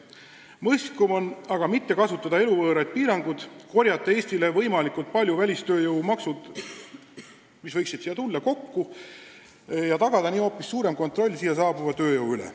Mõistlikum on mitte kehtestada eluvõõraid piiranguid, korjata Eestile võimalikult palju välistööjõumakse, mis võiksid meile laekuda, ja tagada nii ka hoopis suurem kontroll siia saabunud tööjõu üle.